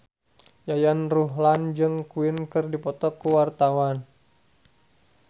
Yayan Ruhlan jeung Queen keur dipoto ku wartawan